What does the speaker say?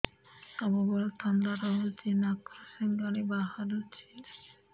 ସବୁବେଳେ ଥଣ୍ଡା ରହୁଛି ନାକରୁ ସିଙ୍ଗାଣି ବାହାରୁଚି